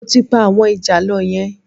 Mo ti pa àwọn ìjàlọ yẹn